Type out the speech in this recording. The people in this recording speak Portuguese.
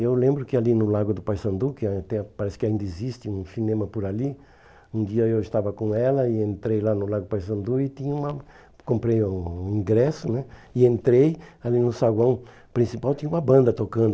Eu lembro que ali no Lago do Paissandu, que até parece que ainda existe um cinema por ali, um dia eu estava com ela e entrei lá no Lago do Paissandu e tinha uma e comprei um ingresso e entrei ali no saguão principal e tinha uma banda tocando.